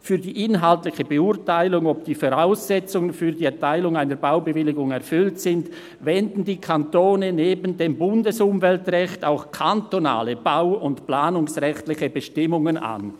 Für die inhaltliche Beurteilung, ob die Voraussetzungen für die Erteilung einer Baubewilligung erfüllt sind, wenden die Kantone neben dem Bundesumweltrecht auch kantonale bau- und planungsrechtliche Bestimmungen an.»